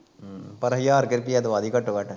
ਹਮ ਪਰ ਹਜ਼ਾਰ ਕੁ ਰੁਪਈਆ ਦਵਾ ਦੀ ਘੱਟੋ ਘੱਟ